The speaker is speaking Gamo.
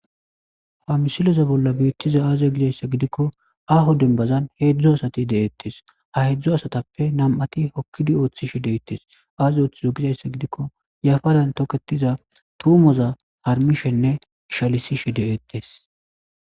Ha missile bola betizay aze gizaysa gidiko aho dembazan hezdu asati de'etes ha hedzu asatape nam'ati hokidi othishe de'etes aza othizo gizaysa gidiko yafaran toketiza tumoza harumishenne ishalisishe de'etes.